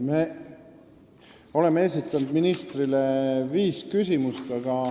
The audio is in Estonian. Me oleme esitanud ministrile viis küsimust.